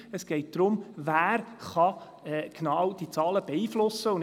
Es geht darum, wie genau man diese Zahlen beeinflussen kann.